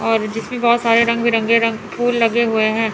और जिसमें बहोत सारे रंग बिरंगे रंग फूल लगे हुए हैं।